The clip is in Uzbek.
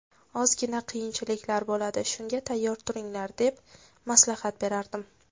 Ozgina qiyinchiliklar bo‘ladi, shunga tayyor turinglar’, deb maslahat berardim.